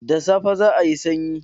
Da safe za'ayi sanyi.